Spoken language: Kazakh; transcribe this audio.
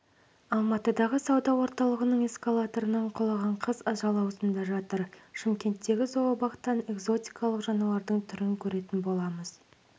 алматыдағы сауда орталығының эскалаторынан құлаған қыз ажал аузында жатыр шымкенттегі зообақтан экзотикалық жануардың түрін көретін боламыз